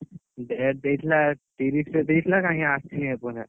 Date ଦେଇଥିଲା ତିରିଶ ରେ ଦେଇଥିଲା କାଇଁ ଆସିନି ଏପର୍ଯ୍ୟନ୍ତ।